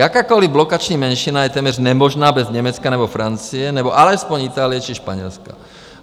Jakákoliv blokační menšina je téměř nemožná bez Německa nebo Francie nebo alespoň Itálie či Španělska.